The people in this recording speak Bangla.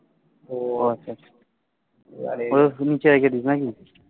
ও আচ্ছা আচ্ছা